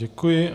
Děkuji.